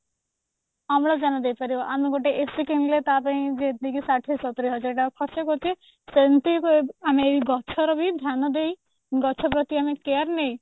ଅମ୍ଳଜାନ ଦେଇପାରିବ ଆମେ ଗୋଟେ AC କିଣିଲେ ତାପାଇଁ ଯେତିକି ଷାଠିଏ ସତୁରୀ ହଜାର ଟଙ୍କା ଖର୍ଚ୍ଚ କରୁଛେ ସେମିତି ଆମେ ଏଇ ଗଛର ବି ଧ୍ୟାନ ଦେଇ ଗଛ ପ୍ରତି ଆମେ care ନେଇ